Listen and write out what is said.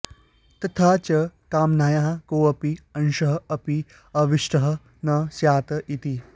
तथा च कामनायाः कोऽपि अंशः अपि अवशिष्टः न स्यात् इति